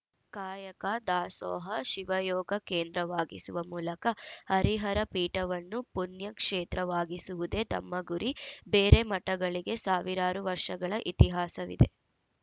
ಕಾಯಕ ದಾಸೋಹ ಶಿವಯೋಗ ಕೇಂದ್ರವಾಗಿಸುವ ಮೂಲಕ ಹರಿಹರ ಪೀಠವನ್ನು ಪುಣ್ಯಕ್ಷೇತ್ರವಾಗಿಸುವುದೇ ತಮ್ಮ ಗುರಿ ಬೇರೆ ಮಠಗಳಿಗೆ ಸಾವಿರಾರು ವರ್ಷಗಳ ಇತಿಹಾಸವಿದೆ